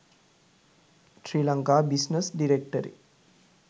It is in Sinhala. sri lanka business directory